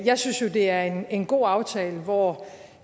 jeg synes jo det er en god aftale hvor